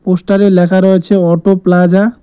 পোস্টারে লেখা রয়েছে অটো প্লাজা ।